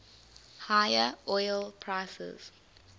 higher oil prices